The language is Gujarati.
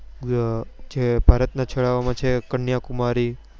એ છે ભારત ના છેડા ઓ માં છે કન્યાકુમારી